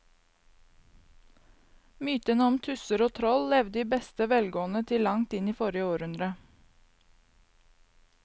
Mytene om tusser og troll levde i beste velgående til langt inn i forrige århundre.